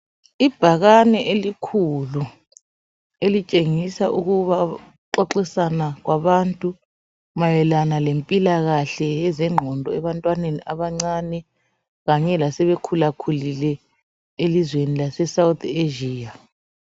Ibhakane elikhulu elitshengisa ukuba ukuxoxisana kwabantu mayelana lempilakahle yezengqondo ebantwaneni abancane kanye lasebekhulakhulile elizweni lase South Asia.